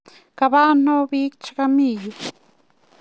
Kaba ano pik che kami yu?